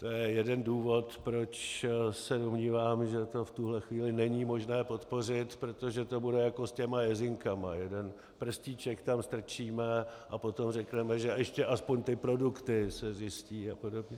To je jeden důvod, proč se domnívám, že to v tuhle chvíli není možné podpořit, protože to bude jako s těmi jezinkami - jeden prstíček tam strčíme a potom řekneme, že ještě aspoň ty produkty se zjistí a podobně.